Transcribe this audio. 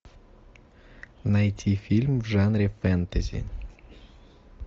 найти фильм в жанре фэнтези